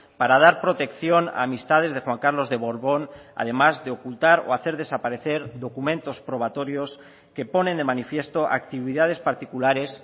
para dar protección a amistades de juan carlos de borbón además de ocultar o hacer desaparecer documentos probatorios que ponen de manifiesto actividades particulares